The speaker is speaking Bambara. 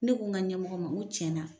Ne ko n ka ɲɛmɔgɔ ma ko tiɲɛna